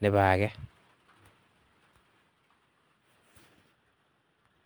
nebo akee.